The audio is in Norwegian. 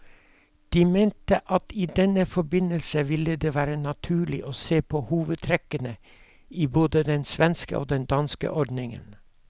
Den mente at det i denne forbindelse ville være naturlig å se på hovedtrekkene i både den svenske og den danske ordningen.